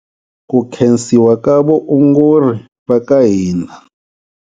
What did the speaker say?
Ku khensiwa ka vaongori va ka hina.